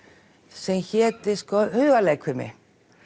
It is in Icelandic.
sem héti hugarleikfimi